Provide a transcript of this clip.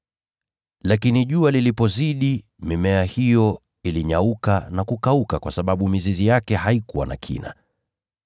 Lakini jua lilipozidi, mimea ikanyauka na kukauka kwa kuwa mizizi yake haikuwa na kina.